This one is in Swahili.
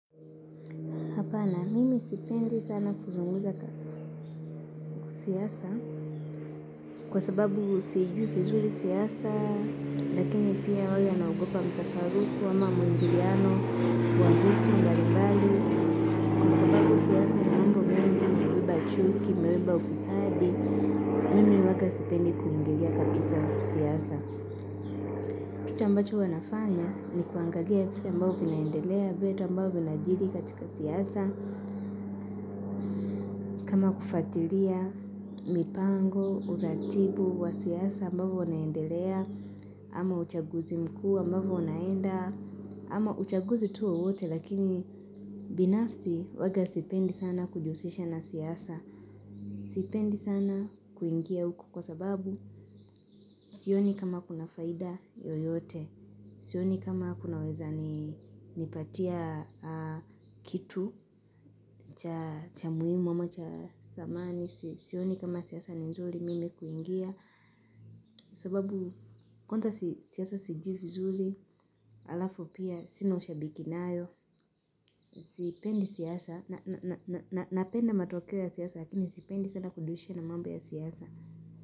Hapana mimi sipendi sana kuzungumza siasa kwa sababu sijui vizuri siasa lakini pia awe anaogopa mtafaruku ama muingiliano wa vitu mbalimbali. Kwa siasa ni mambo mengi umebeba chuki, umebeba ufisadi, mimi huanga sipendi kuingilia kabisa kwa siyasa. Kitu ambacho wanafanya ni kuangalia vitu ambao vinaendelea vitu ambao vinajiri katika siasa kama kufuatilia mipango, udhatibu wa siasa ambavo unaendelea ama uchaguzi mkua ambavo unaenda ama uchaguzi tu wowote lakini binafsi huwaga sipendi sana kujihusisha na siasa. Sipendi sana kuingia huku kwa sababu sioni kama kuna faida yoyote, sioni kama kunaweza nipatia kitu cha muhimu ama cha dhamani, sioni kama siasa ni nzuri mimi kuingia sababu kwanza siasa sijui vizuri alafu pia sina ushabiki nayo. Sipendi siasa, napenda matokeo ya siasa lakini sipendi sana kudushi na mambo ya siasa.